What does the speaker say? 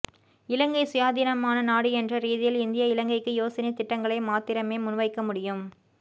இலங்கை சுயாதீனமான நாடு என்ற ரீதியில் இந்தியா இலங்கைக்கு யோசனை திட்டங்களை மாத்திரமே முன்வைக்க முடியும்